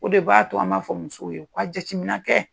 O de b'a to an b'a fɔ musow ye u ka jateminƐ kɛ.